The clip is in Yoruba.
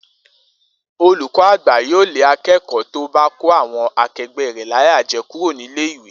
Olùkó̩ àgbà yóò lé aké̩kò̩ó̩ tó bá kó àwo̩n ake̩gbé̩ rè̩ láyà je̩ kúrò nílé ìwé